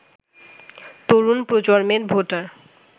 তরুণ প্রজন্মের ভোটার